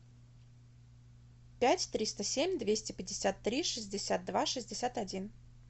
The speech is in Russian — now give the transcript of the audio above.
пять триста семь двести пятьдесят три шестьдесят два шестьдесят один